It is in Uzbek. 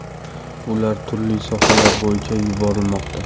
Ular turli sohalar bo‘yicha yuborilmoqda.